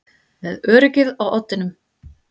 Með öryggið á oddinum